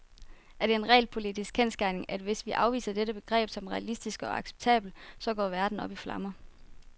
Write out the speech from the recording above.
Er det en realpolitisk kendsgerning, at hvis vi afviser dette begreb som realistisk og acceptabelt, så går verden op i flammer?